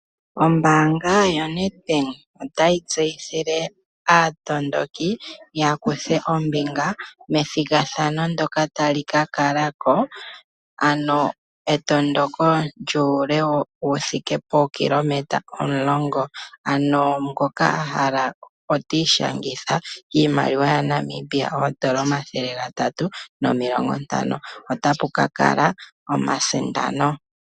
Ombaanga yo Nedbank ota yi tseyithile aatondoki ya kuthe ombinga methigathano ndyoka tali ka kala ko, ano etondoko lyuule wuthike pookilometa omulongo, ano ngoka ahala ota ishangitha kiimaliwa ya Namibia omathele ga tatu nomilongo ntano. Otapu ka kala omasindano.